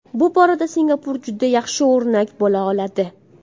Bu borada Singapur juda yaxshi o‘rnak bo‘la oladi.